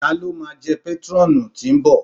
Ta ló máa jẹ pétrọ́ọ̀nù tí ń bọ̀?